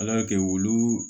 Ala kɛ wulu